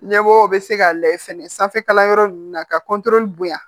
Ɲɛmɔgɔ bɛ se ka layɛ fɛnɛ sanfɛkalanyɔrɔ ninnu na ka bonya